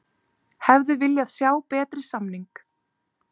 Hefði viljað sjá betri samning